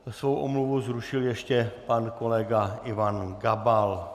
Svou omluvu zrušil ještě pan kolega Ivan Gabal.